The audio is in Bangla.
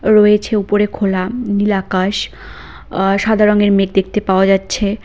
রয়েছে উপরে খোলা নীল আকাশ আ সাদা রঙের মেঘ দেখতে পাওয়া যাচ্ছে।